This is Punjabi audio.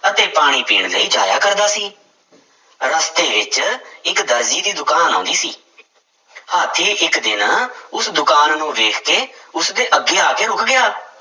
ਅਤੇ ਪਾਣੀ ਪੀਣ ਲਈ ਜਾਇਆ ਕਰਦਾ ਸੀ, ਰਸਤੇ ਵਿੱਚ ਇੱਕ ਦਰਜੀ ਦੀ ਦੁਕਾਨ ਆਉਂਦੀ ਸੀ ਹਾਥੀ ਇੱਕ ਦਿਨ ਉਸ ਦੁਕਾਨ ਨੂੰ ਵੇਖ ਕੇ ਉਸਦੇ ਅੱਗੇ ਆ ਕੇ ਰੁੱਕ ਗਿਆ।